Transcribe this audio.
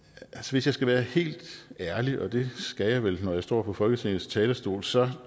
hvis jeg skal være helt ærlig og det skal jeg vel når jeg står på folketingets talerstol så